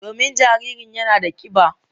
Domin jaririn yana da kiba.